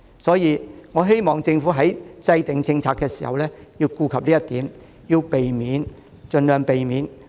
所以，我希望政府在制訂政策時要顧及這一點，盡量避免扼殺中小微企。